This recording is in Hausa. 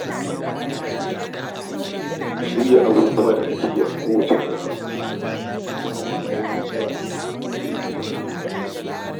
Shirya abubuwan da ake yi kowace rana ya na kawo nasara cikin ayyuka.